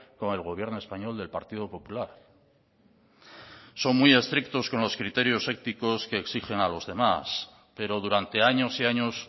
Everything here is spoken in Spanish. con el gobierno español del partido popular son muy estrictos con los criterios éticos que exigen a los demás pero durante años y años